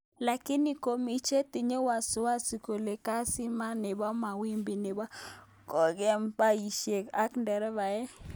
Lakini komi chetindo wasiwasi kole keziman nebo mawimbi nebo konge'em baishek ak nderevae.